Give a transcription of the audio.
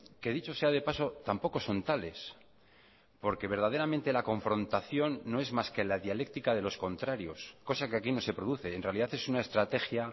que dicho sea de paso tampoco son tales porque verdaderamente la confrontación no es más que la dialéctica de los contrarios cosa que aquí no se produce en realidad es una estrategia